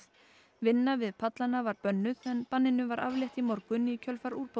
vinna við pallana var bönnuð en banninu var aflétt í morgun í kjölfar úrbóta